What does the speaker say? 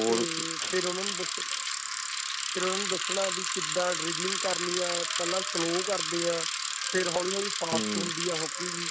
ਤੇ ਫੇਰ ਉਹਨਾ ਨੂੰ ਦੱਸੋ ਫੇਰ ਉਹਨਾ ਨੂੰ ਦੱਸਣਾ ਵੀ ਕਿੱਦਾਂ driveling ਕਰਨੀ ਆ ਪਹਿਲਾਂ slow ਕਰਦੇ ਆ ਫੇਰ ਹੋਲੀ ਹੋਲੀ fast ਹੁੰਦੀ ਆ hockey ਦੀ